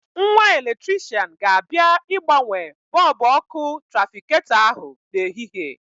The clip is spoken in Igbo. Nwa eletrishian ga-abịa ịgbanwe bọbụ ọ́kụ́ trafiketọ ahụ n'ehihie.